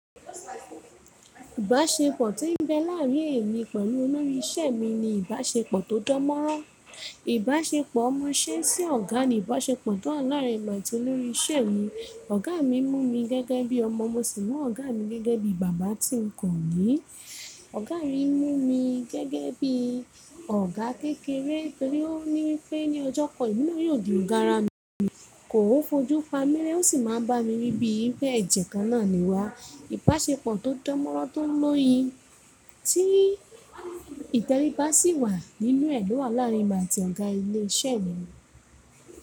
Ìbáṣepọ̀ tí ń bẹ láàrin èmi pẹ̀lú olórí isẹ mi ni ìbáṣepọ̀ tó dánmọ́rán. Ìbáṣepọ̀ omoṣẹ sí ọ̀gá ni ìbáṣepọ̀ tó láàrin èmi àti olórí isẹ mi. Ọ̀gá mi mú mi gẹ́gẹ́ bí ọmọ, mo sì mọ Ọ̀gá mi gẹ́gẹ́ bí bàbá tí ń kọ̀ ní. Ọ̀gá mi mú mi gẹ́gẹ́ bí ọ̀gá kékeré torí ó ní pẹ́ ní ọjọ́ kan emi na yóò di ọ̀gá ara mi, kò fo jú pamírẹ́, ó sì máa ń bá mi wí bí ẹjẹ́ kan náà ni wá. Ìbáṣepọ̀ tó dánmọ́rán tó ń lọ́yin tí ìtẹríba sì wà nínú ẹ̀ ló wà láàrin mi àti ọ̀gá ilé iṣẹ́ mi.